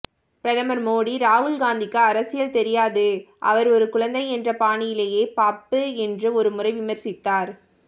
பிரதமர் மோடி ராகுல் காந்திக்கு அரசியல் தெரியாது அவர் ஒரு குழந்தை என்ற பாணியிலேயே பப்பு என்று ஒருமுறை விமர்சித்தார்